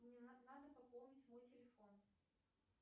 мне надо пополнить мой телефон